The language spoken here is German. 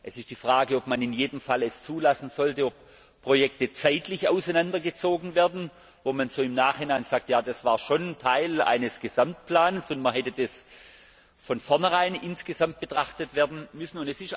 Es ist die Frage, ob man es in jedem Falle zulassen sollte, ob Projekte zeitlich auseinandergezogen werden, wo man dann im Nachhinein sagt, ja, das war schon Teil eines Gesamtplans und es hätte von vornherein insgesamt betrachtet werden müssen.